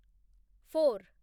four